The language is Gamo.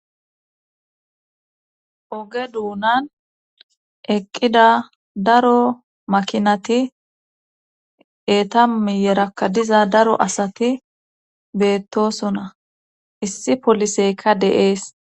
oge duunan eqqida daro makinati eeta miyerakka diza daro asati beettosona issi poliseyka de7ees